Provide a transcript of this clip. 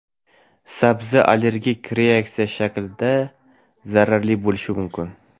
sabzi allergik reaksiya shaklida zararli bo‘lishi mumkin.